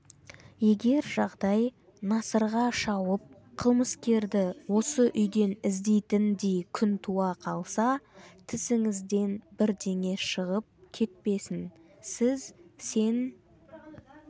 егер жағдай насырға шауып қылмыскерді осы үйден іздейтіндей күн туа қалса тісіңізден бірдеңе шығып кетпесін сіз сен